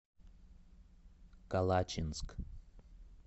калачинск